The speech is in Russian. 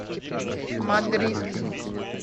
мадрид